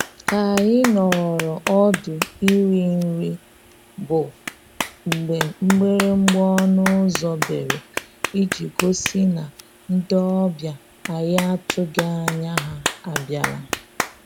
K'anyị nọọrọ ọdụ iri nri bụ mgbe mgbịrịgba ọnụ ụzọ bere iji gosi na ndị ọbịa anyị atụghị anya ha abịala